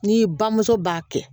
N'i bamuso b'a kɛ